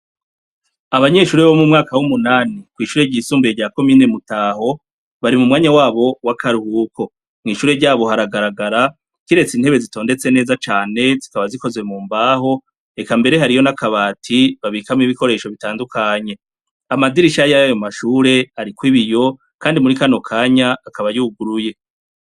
Abanyeshure bo mwumwaka wumunani mwishure ry'isumbuye rya commune Mutaho bari mumwanya wabo wakaruhuko mwishure ryabo haragaragara kiretse intebe zitondetse neza cane zikaba zikozwe mumbaho Eka mbere hariho nakabati babikamwo ibikoresho bitandukanye amadirisha yayo mashure ariko ibiyo kandi muri kano kanya akaba yuguruye.